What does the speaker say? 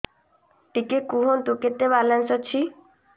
ଟିକେ କୁହନ୍ତୁ କେତେ ବାଲାନ୍ସ ଅଛି